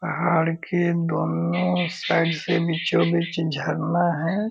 पहाड़ के दोनों साइड से बीचों बीच झरना है।